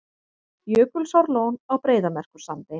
Jökulsárlón á Breiðamerkursandi.